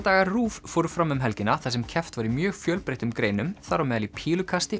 meistaradagar RÚV fóru fram um helgina þar sem keppt var í mjög fjölbreyttum greinum þar á meðal í pílukasti